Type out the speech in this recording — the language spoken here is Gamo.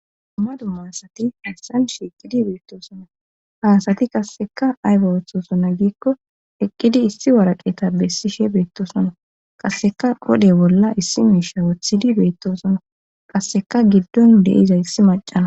dummadu ma asati hassan shiiqidi beettosonna haasati qasseka ayba woththosona giikko eqqidi issi waraqeta bessishe beettosonna qasseka kode bolla issi miisha wothidi beettosonna qasseka giddon deiza issi macana